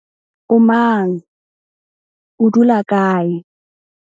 O mang, o dula kae?